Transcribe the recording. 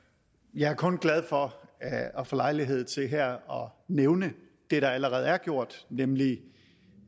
jeg er kun glad for at få lejlighed til her at nævne det der allerede er gjort nemlig